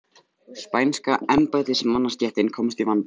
Spænska embættismannastéttin komst í vanda.